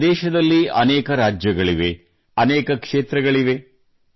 ನಮ್ಮ ದೇಶದಲ್ಲಿ ಅನೇಕ ರಾಜ್ಯಗಳಿವೆ ಅನೇಕ ಕ್ಷೇತ್ರಗಳಿವೆ